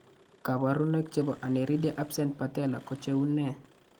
kabarunaik chebo Aniridia absent patella ko cheu nee ?